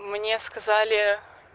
мне сказали